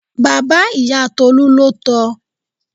Bàbá ìyá Tolú ló tọ.